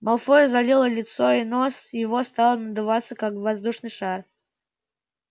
малфою залило лицо и нос его стал надуваться как воздушный шар